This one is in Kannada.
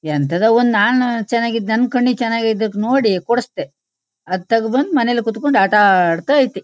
ಎಂತದೋ ಒಂದ್ ನಾನ್ ಚೆನ್ನಾಗಿದ್ ನನ್ ಕಣ್ಣಿಗ್ ಚೆನ್ನಾಗಿದ್ಡಕ್ ನೋಡಿ ಕೊಡ್ಸದೆ. ಅದ್ ತಕೊಬಂದ್ ಮನೇಲ್ ಕೂತ್ಕೊಂಡ್ ಆಟ ಆಡ್ತಾ ಐತೆ.